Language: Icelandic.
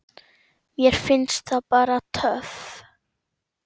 Mér finnst það bara töff.